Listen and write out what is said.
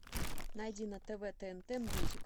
найди на тв тнт мьюзик